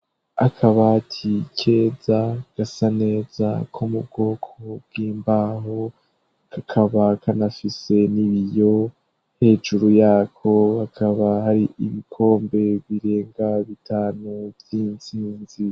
Akabati keza gasa neza ko mu bwoko bw'imbaho kakaba kanafise n'ibiyo ,hejuru yako hakaba hari ibikombe birenga bitanu vy'intsinzi.